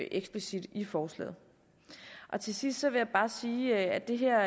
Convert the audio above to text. eksplicit i forslaget til sidst vil jeg bare sige at det her